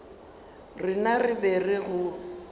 rena re be re go